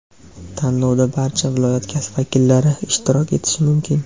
Tanlovda barcha viloyat vakillari ishtirok etishi mumkin.